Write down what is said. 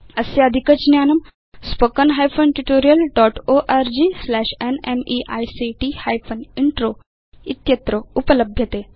अस्य अधिकज्ञानम् spoken hyphen tutorial dot org slash NMEICT hyphen intro इत्यत्र उपलभ्यते